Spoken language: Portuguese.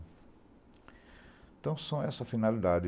Então, são essa a finalidade.